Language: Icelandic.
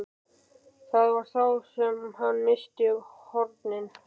Það var þá sem hann missti hornin.